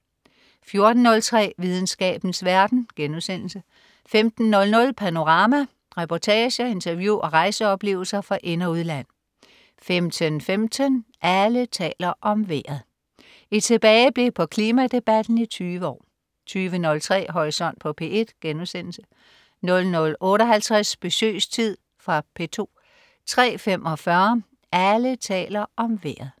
14.03 Videnskabens verden* 15.00 Panorama. Reportager, interview og rejseoplevelser fra ind- og udland 15.15 Alle taler om vejret. Et tilbageblik på klimadebatten i 20 år 20.03 Horisont på P1* 00.58 Besøgstid. Fra P2 03.45 Alle taler om Vejret